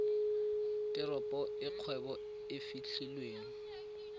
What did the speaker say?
teropo e kgwebo e fitlhelwang